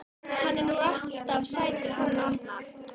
Hann er nú alltaf sætur hann Arnar.